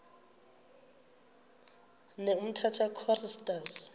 ne umtata choristers